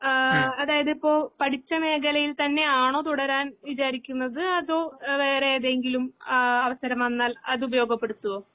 ആഹ് അതായതിപ്പോ പഠിച്ചമേഖലയിൽതന്നെയാണോ തുടരാൻ വിചാരിക്കുന്നത് അതോ വേറെയേതെങ്കിലും ആഹ് അവസരം വന്നാൽ അതുപയോഗപ്പെടുത്തുവോ?